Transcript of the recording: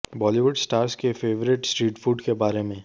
Bollywood stars के favourite street food के बारे में